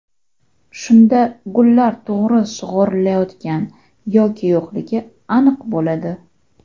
Shunda gullar to‘g‘ri sug‘orilayotgani yoki yo‘qligi aniq bo‘ladi.